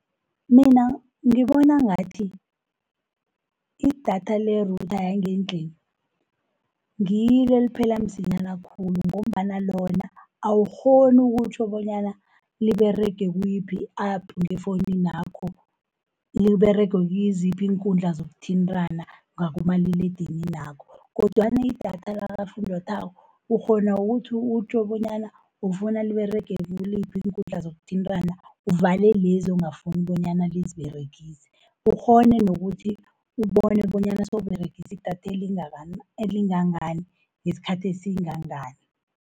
Mina ngibona ngathi idatha le-Router yangendlini, ngilo eliphela msinyana khulu, ngombana lona awukghoni ukutjho bonyana liberege kuyiphi i-app ngefowuninakho. Liberege kiziphi iinkundla zokuthintana ngakumaliledininakho, kodwana idatha lakafunjathwako ukghona ukuthi utjho bonyana ufuna liberege kiliphi iinkundla zokuthintana, uvale lezi ongafuni bonyana liziberegise, ukghone nokuthi ubone bonyana sewuberegisi idatha elingangani ngesikhathi esingangani.